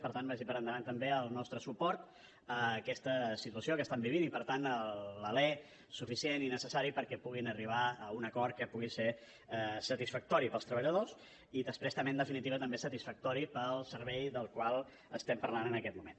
per tant vagi per endavant també el nostre suport a aquesta situació que estan vivint i per tant l’alè suficient i necessari perquè puguin arribar a un acord que pugui ser satisfactori pels treballadors i després també en definitiva també satisfactori pel servei del qual estem parlant en aquest moment